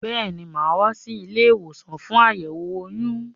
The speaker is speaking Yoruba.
Béèni, máa wá sí ilé-ìwòsàn fún àyẹ̀wò oyún